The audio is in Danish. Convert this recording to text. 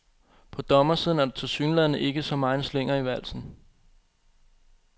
På dommersiden er der tilsyneladende ikke så megen slinger i valsen.